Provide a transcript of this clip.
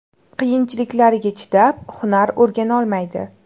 Qiyinliklariga chidab, hunar o‘rganolmaydi.